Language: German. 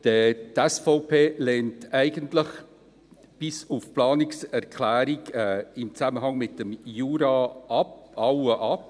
Eigentlich lehnt die SVP alle Planungserklärungen ab bis auf die Planungserklärung im Zusammenhang mit dem Jura.